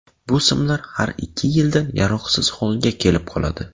Bu simlar har ikki yilda yaroqsiz holga kelib qoladi.